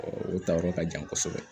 o tayɔrɔ ka jan kosɛbɛ